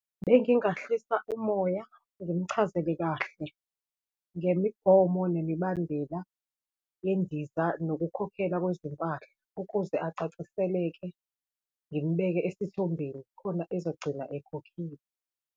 Bengingahlisa umoya ngimchazele kahle ngemigomo nemibandela yendiza, nokukhokhela kwezimpahla ukuze acaciseleke, ngimbeke esithombeni khona ezogcina ekhokhile.